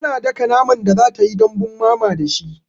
Tana daka naman da zatayi dambun mama da shi